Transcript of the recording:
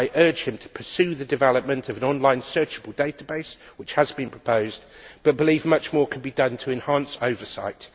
I urge him to pursue the development of an online searchable database which has been proposed but I believe much more can be done to enhance oversight.